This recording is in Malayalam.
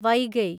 വൈഗൈ